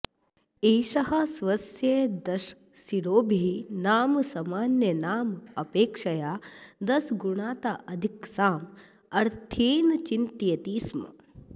एषः स्वस्य दशशिरोभिः नाम सामान्यानाम् अपेक्षया दशगुणिताधिकसामर्थ्येन चिन्तयति स्म